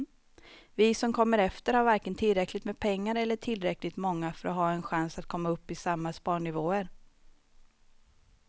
Vi som kommer efter har varken tillräckligt med pengar eller är tillräckligt många för att ha en chans att komma upp i samma sparnivåer.